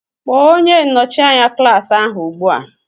Kpọọ onye nnọchi anya klaasị ahụ ugbu a!